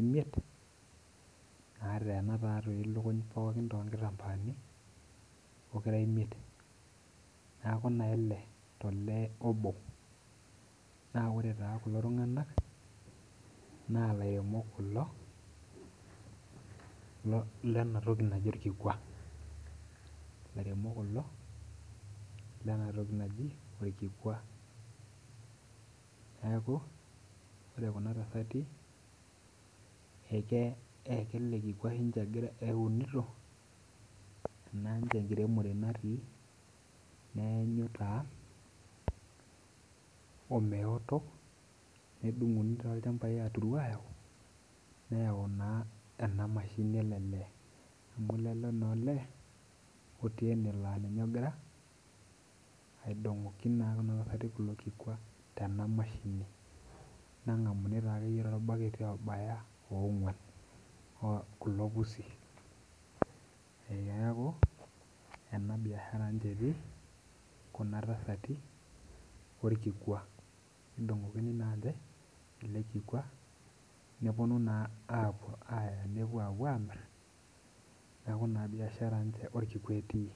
imiet naateena lukuny toonkitambaani pokira imiet neeku taa ile tolee obo ,naa ore taa kulo tunganak naaa lairemok kulo lena toki naji orkikua .neeku ore Kuna tasati ,ele kikwa ninche eunito ,ena enkiremore ninche natii ,neenyu meoto nitayuni adungu nayau ena mshinini ele lee. amu lele olee otii ene laa ninye naa ogira aidongoki kuna tasati kulo kikwan tena mashini nengamuni taa akeyie torbaketi ora ogwan kulo pusi ,neeku ena biashara ninche etii Kuna tasati orkikua ,edungokini naa ninche ele kikwa neponu naa aaya apuo amir neeku naa biashara orkikua etii.